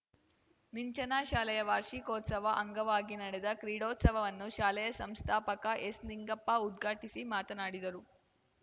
ನಿಂಚನಾ ಶಾಲೆಯ ವಾರ್ಷಿಕೋತ್ಸವ ಅಂಗವಾಗಿ ನಡೆದ ಕ್ರೀಡೋತ್ಸವವನ್ನು ಶಾಲೆಯ ಸಂಸ್ಥಾಪಕ ಎಸ್‌ನಿಂಗಪ್ಪ ಉದ್ಘಾಟಿಸಿ ಮಾತನಾಡಿದರು